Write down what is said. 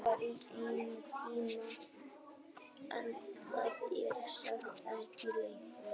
Svo var í eina tíð en er sem sagt ekki lengur.